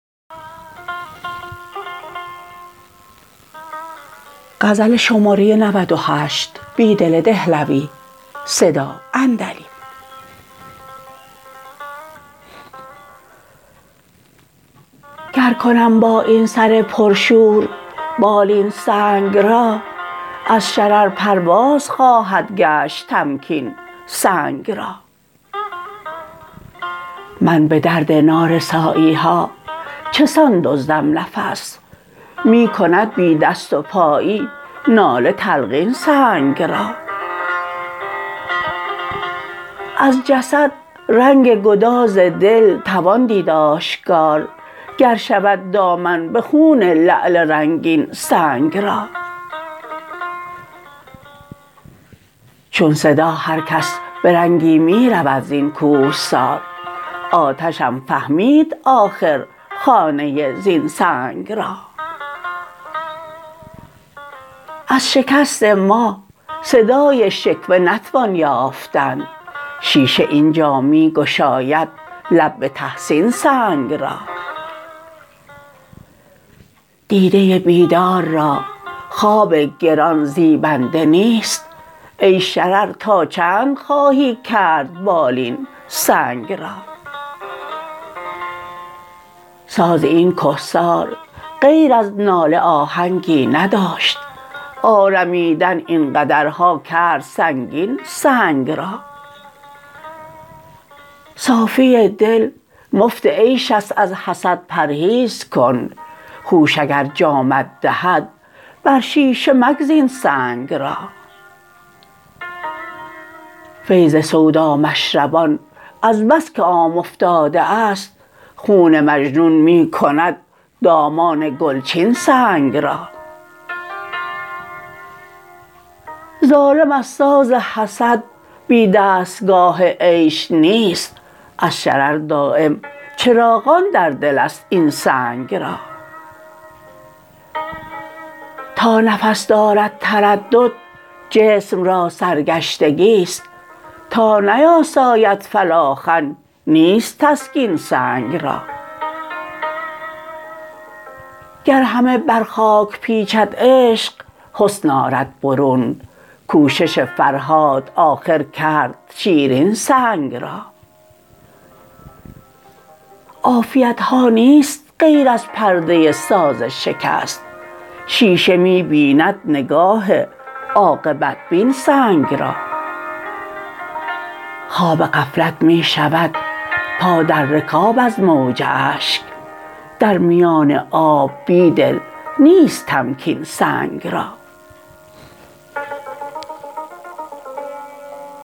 گر کنم با این سر پرشور بالین سنگ را از شرر پرواز خواهد گشت تمکین سنگ را من به درد نارسایی ها چه سان دزدم نفس می کند بی دست و پایی ناله تلقین سنگ را از جسد رنگ گداز دل توان دید آشکار گر شود دامن به خون لعل رنگین سنگ را چون صدا هرکس به رنگی می رود زین کوهسار آتشم فهمید آخر خانه زین سنگ را از شکست ما صدای شکوه نتوان یافتن شیشه اینجا می گشاید لب به تحسین سنگ را دیده بیدار را خواب گران زیبنده نیست ای شرر تا چند خواهی کرد بالین سنگ را ساز این کهسار غیر از ناله آهنگی نداشت آرمیدن این قدرها کرد سنگین سنگ را صافی دل مفت عیش است از حسد پرهیز کن هوش اگر جامت دهد بر شیشه مگزین سنگ را فیض سودامشربان از بس که عام افتاده است خون مجنون می کند دامان گلچین سنگ را ظالم از ساز حسد بی دستگاه عیش نیست از شرر دایم چراغان در دل است این سنگ را تا نفس دارد تردد جسم را سرگشتگی ست تا نیاساید فلاخن نیست تسکین سنگ را گر همه بر خاک پیچید عشق حسن آرد برون کوشش فرهاد آخر کرد شیرین سنگ را عافیتها نیست غیر از پرده ساز شکست شیشه می بیند نگاه عاقبت بین سنگ را خواب غفلت می شود پا در رکاب از موج اشک در میان آب بیدل نیست تمکین سنگ را